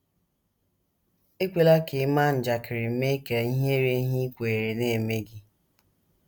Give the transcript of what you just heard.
Ekwela ka ịma njakịrị mee ka ihere ihe i kweere na - eme gị